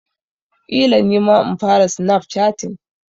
Ƙila nima in fara snap chatting.